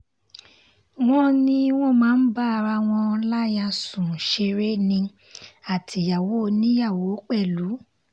wọ́n ní wọ́n máa ń bá ara wọn láyà sùn ṣeré ní àtìyàwó oníyàwó pẹ̀lú